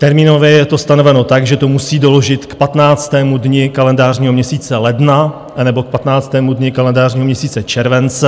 Termínově je to stanoveno tak, že to musí doložit k 15. dni kalendářního měsíce ledna, anebo k 15. dni kalendářního měsíce července.